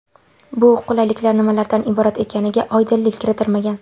Bu qulayliklar nimalardan iborat ekaniga oydinlik kiritilmagan.